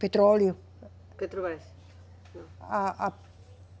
Petróleo. petrobras, não. A, a